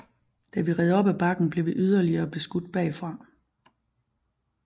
Da vi red op ad bakken blev vi yderligere beskudt bagfra